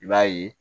I b'a ye